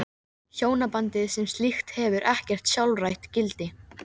Hjónabandið sem slíkt hefur ekkert sjálfstætt gildi.